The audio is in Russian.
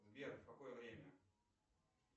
сбер в какое время